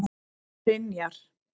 Brynjar